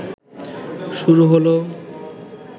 শুরু হল